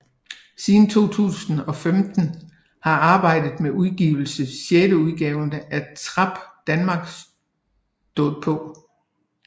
Siden 2015 har arbejdet med udgive sjetteudgaven af Trap Danmark stået på